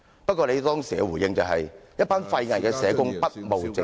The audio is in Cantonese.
不過，你當時的回應是，"一班廢偽的社工，不務正業"......